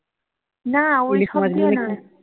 না দিয়ে নয়